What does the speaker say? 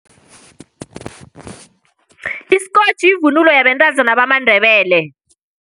Iskotjhi yivunulo yabentazana bamaNdebele.